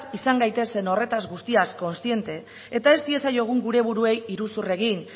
izan gaitezen horretaz guztiak kontziente eta ez diezaiogun gure buruei iruzur egin